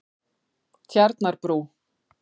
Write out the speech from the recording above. Tjarnarbrú